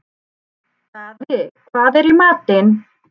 Daði, hvað er í matinn?